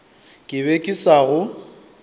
ke be ke sa go